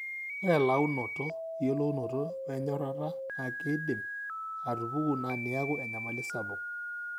ore elaunoto eyiounoto e enyorata na keidim atupuku na niaku enyamali sapuk.